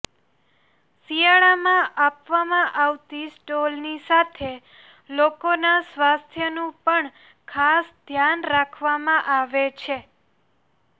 શિયાળામાં આપવામાં આવતી સ્ટોલની સાથે લોકોના સ્વાસ્થ્યનું પણ ખાસ ધ્યાન રાખવામાં આવે છે